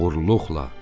Oğurluqla.